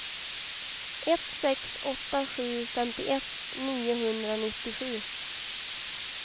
ett sex åtta sju femtioett niohundranittiosju